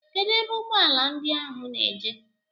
Kedụ ebe ụgbọala ndị ahụ na-eje?